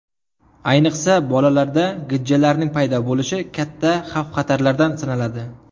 Ayniqsa, bolalarda gijjalarning paydo bo‘lishi katta xavf-xatarlardan sanaladi.